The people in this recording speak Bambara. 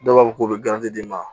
Dɔw b'a fɔ k'u bɛ d'i ma